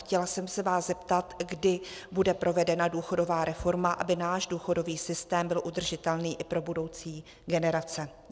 Chtěla jsem se vás zeptat, kdy bude provedena důchodová reforma, aby náš důchodový systém byl udržitelný i pro budoucí generace.